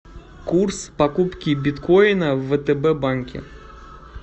курс покупки биткоина в втб банке